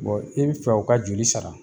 Bon i bɛ fɛ u ka joli sara?